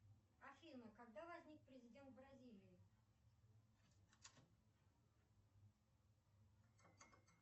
афина когда возник президент бразилии